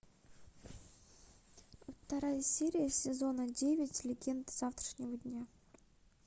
вторая серия сезона девять легенды завтрашнего дня